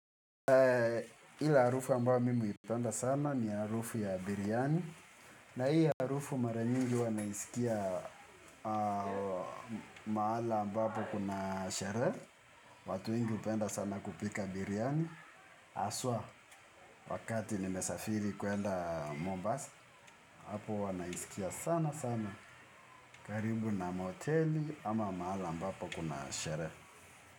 Ila harufu ambao mimi huipenda sana ni harufu ya biriani na hii harufu mara nyingi huwa naisikia mahala ambapo kuna sherehe. Watu wengi hupenda sana kupika biriani haswa wakati nimesafiri kuenda Mombasa. Apo huwa naisikia sana sana karibu na mahoteli ama mahala ambapo kuna sherehe.